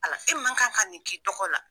Ala e man kan ka nin k'i dɔgɔ la.